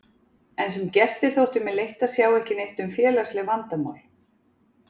En sem gesti þótti mér leitt að sjá ekki neitt um félagsleg vandamál